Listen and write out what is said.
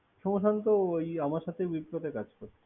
সোম্যশান্ত্র ওই আমার সাথে মিফ ফ্র কাজ করতো।